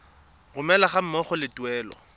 romelwa ga mmogo le tuelo